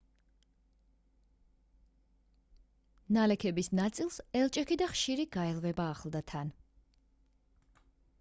ნალექების ნაწილს ელჭექი და ხშირი გაელვება ახლდა თან